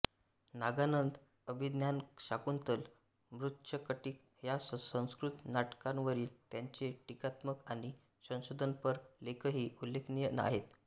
नागानंद अभिज्ञानशाकुंतल मृच्छकटिक ह्या संस्कृत नाटकांवरील त्यांचे टीकात्मक आणि संशोधनपर लेखही उल्लेखनीय आहेत